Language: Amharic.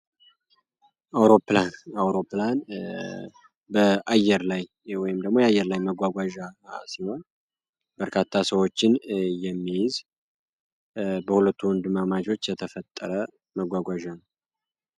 አውሮፕላን በአውሮፕላን በአየር ላይ ወይም ደሞ የአየር ላይ መጓጓዣ ሲሆን በርካታ ሰዎችን የሚይዝ በሁለት ወንድማማቾች የተፈጠረ መጓጓዣ ነው።